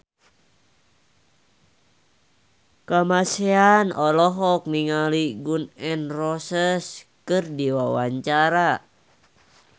Kamasean olohok ningali Gun N Roses keur diwawancara